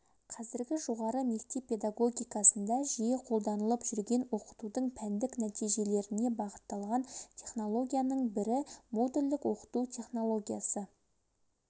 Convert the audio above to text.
қазіргі жоғары мектеп педагогикасында жиі қолданылып жүрген оқытудың пәндік нәтижелеріне бағытталған технологияның бірі модульдік оқыту технологиясы